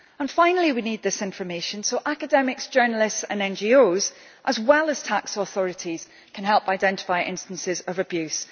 Finally, we need this information so that academics, journalists and NGOs, as well as tax authorities, can help identify instances of abuse.